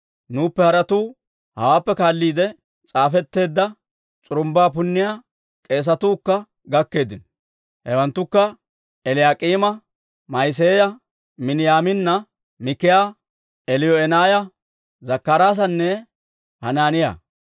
Nuuppe haratuu hawaappe kaalliide s'aafetteedda, s'urumbbaa punniyaa k'eesatuu kka gakkeeddino. Hewanttukka Eliyaak'iima, Ma'iseeya, Miniyaamina, Mikaaya, Eliyoo'enaaya, Zakkaraasanne Hanaaniyaa.